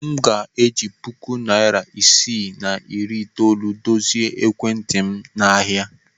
Aga m eji puku naịra isii na iri itoolu dozie ekwentị m n'ahịa.